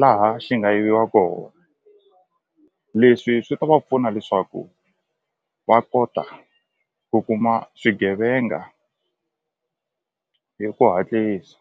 laha xi nga yiviwa kona leswi swi ta va pfuna leswaku va kota ku kuma swigevenga hi ku hatlisa.